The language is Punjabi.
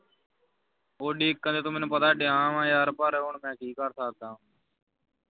ਡੀਕਨ ਤੇ ਤੂੰ ਮੈਨੂੰ ਪਤਾ ਡਆਵਾ ਪਰ ਹੁਣ ਮੈਂ ਕੀ ਕਰ ਸਕਦਾ ਹਾਂ